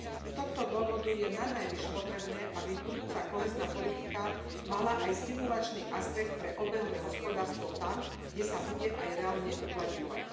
Z tohto dôvodu je nanajvýš potrebné, aby budúca kohézna politika mala aj stimulačný aspekt pre obehové hospodárstvo tam, kde sa bude aj reálne uplatňovať.